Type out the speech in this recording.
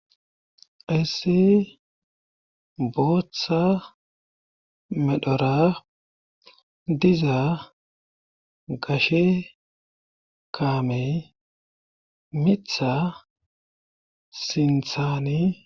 issi booththa medhora diza gashe kaamey mitha sinthaani